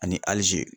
Ani alizi